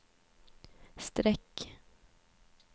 streck